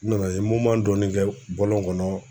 N nana ye dɔɔnin kɛ bɔlɔn kɔnɔ